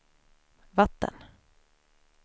vatten